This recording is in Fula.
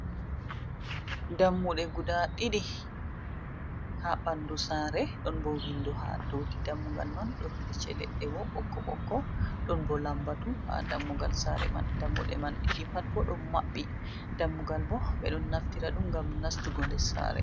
Dammuɗe guda ɗiɗi haa ɓanndu saare, ɗon bo winndo haa dowti dammugal man. Ɗon licce leɗɗe bo ɓokko ɓokko, ɗon bo lambatu haa dammugal saare man. Dammuɗe man ɗiɗi pat bo, ɗon maɓɓi. Dammugal bo, ɓe ɗon naftira ɗum, ngam nastugo nder saare.